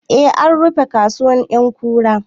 Eh, an rufe kasuwar ƴankura